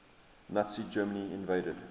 nazi germany invaded